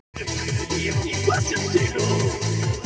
Kristján Már: Kanntu skýringu á því?